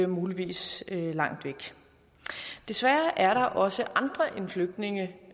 muligvis langt væk desværre er der også andre end flygtninge